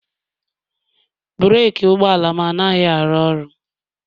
breeki ụgbọala m anaghị arụ ọrụ